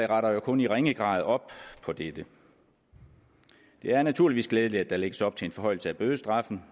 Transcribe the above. retter kun i ringe grad op på det dette det er naturligvis glædeligt at der lægges op til en forhøjelse af bødestraffen